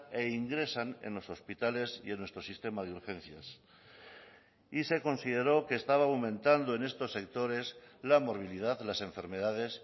e ingresan en los hospitales y en nuestro sistema de urgencias y se consideró que estaba aumentando en estos sectores la movilidad las enfermedades